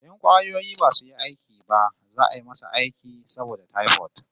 In kwayoyi basu yi aiki ba za'a yi masa aiki saboda typhoid